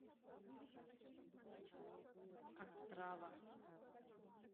острава